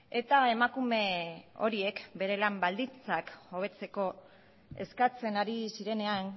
eta emakume horiek euren lan baldintzak hobetzeko eskatzen ari zirenean